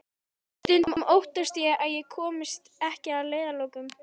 Stundum óttast ég að ég komist ekki að leiðarlokum.